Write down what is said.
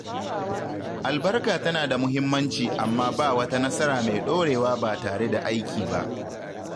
Albarka tana da muhimmanci amma ba wata nasara mai ɗorewa ba tare da aiki ba.